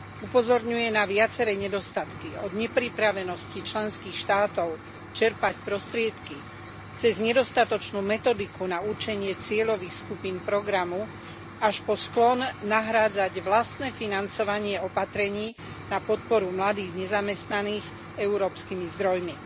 Upozorňuje na viaceré nedostatky, od nepripravenosti členských štátov čerpať prostriedky cez nedostatočnú metodiku na určenie cieľových skupín programu až po sklon nahrádzať vlastné financovanie opatrení na podporu mladých nezamestnaných európskymi zdrojmi.